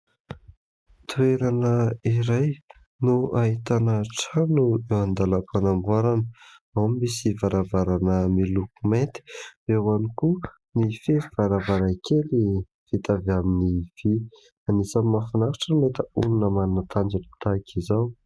Toerana iray no ahitana trano eo an-dalam-panamboarana. Ao no misy varavarana miloko maity, eho ihany koa ny fefy varavaray kely vita avy amin'ny vy. Anisany mahafinaritra no mahita olona manana tanjoty tahaka izao.